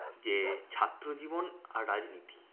যে ছাত্র জীবন আর রাজনীতি।